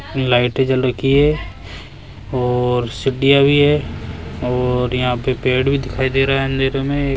लाइटे जल रखी है और सीढिया भी है और यहां पे पेड़ भी दिखाई दे रहा है अंधेरे में ये --